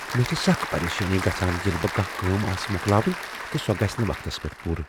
مےٚ چھےٚ سخ پریشانی گژھان ییٚلہ مےٚ کانٛہہ کٲم آسہ مۄکلاوٕنۍ تہٕ سۄ گژھِ نہٕ وقتس پیٹھ پوٗرٕ۔